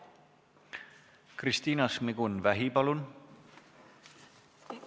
Kristina Šmigun-Vähi, palun!